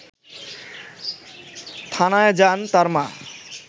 থানায় যান তার মা